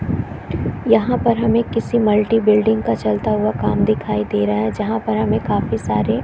यहाँ पर हमें किसी मल्टी बिल्डिंग का काम चलता हुआ दिखाई दे रहा है जहाँ पर हमें काफी सारे --